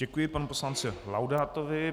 Děkuji panu poslanci Laudátovi.